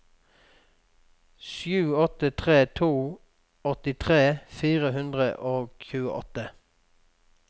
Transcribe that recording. sju åtte tre to åttitre fire hundre og tjueåtte